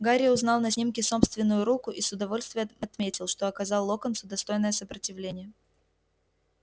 гарри узнал на снимке собственную руку и с удовольствием отметил что оказал локонсу достойное сопротивление